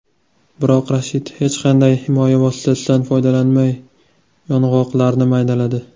Biroq Rashid hech qanday himoya vositasidan foydalanmay yong‘oqlarni maydaladi.